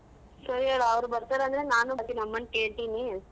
ಸರಿ ಅವ್ರ್ ಬರ್ತಾರೆ ಅಂದ್ರೆ ನಾನು ಮತ್ ನಮ್ ಅಮ್ಮನ್ ಕೇಳ್ತೀನಿ.